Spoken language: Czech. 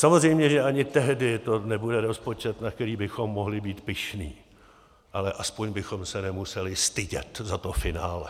Samozřejmě, že ani tehdy to nebude rozpočet, na který bychom mohli být pyšní, ale aspoň bychom se nemuseli stydět za to finále.